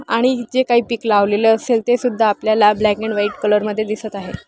आणि हि जी काही पिक लावलेलं असेल ते सुद्धा आपल्याला ब्लॅक-अँड-व्हाईट-कलर मध्ये दिसत आहेत.